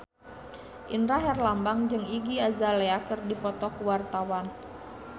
Indra Herlambang jeung Iggy Azalea keur dipoto ku wartawan